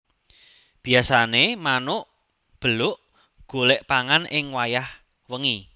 Biyasané manuk beluk golek pangan ing wayah wengi